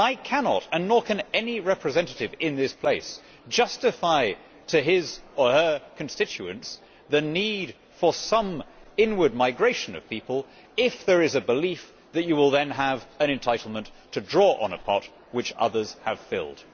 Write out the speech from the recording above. I cannot and nor can any representative in this place justify to his or her constituents the need for some inward migration of people if there is a belief that you will then have an entitlement to draw on a pot which others have filled.